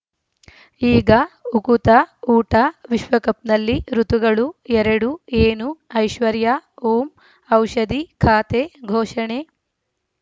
ಈಗ ಉಕುತ ಊಟ ವಿಶ್ವಕಪ್‌ನಲ್ಲಿ ಋತುಗಳು ಎರಡು ಏನು ಐಶ್ವರ್ಯಾ ಓಂ ಔಷಧಿ ಖಾತೆ ಘೋಷಣೆ